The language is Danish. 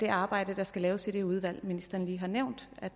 arbejde der skal laves i det udvalg ministeren lige har nævnt